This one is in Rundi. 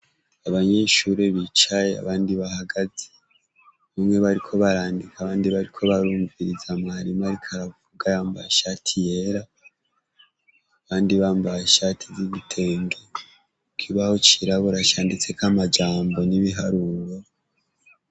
Abanyeshure bicaye abandi bahagaze. Bamwe bariko barandika abandi bariko barumviriza mwarimu ariko aravuga yambaye ishati yera, abandi bambaye ishati z'igitenge. Ikibaho cirabura canditseko amajambo n'ibiharuro.